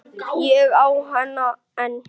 Ég á hana enn.